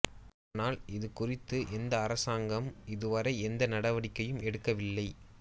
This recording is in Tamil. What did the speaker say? ஆனால் இது குறித்து இந்த அரசாங்கம் இதுவரை எந்த நடவடிக்கையும் எடுக்கவில்லை